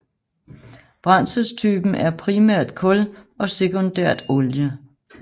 Brændselstypen er primært kul og sekundært olie